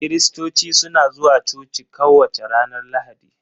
Kiristoci suna zuwa coci kowace ranar Lahadi.